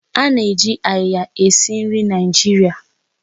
Ana eji áyiya esi nri na Naịjirịa